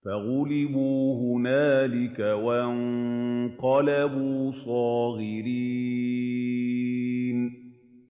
فَغُلِبُوا هُنَالِكَ وَانقَلَبُوا صَاغِرِينَ